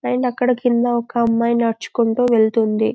పైన అక్కడ కింద ఒక అమ్మాయి నడుచుకుంటూ వెళ్తుంది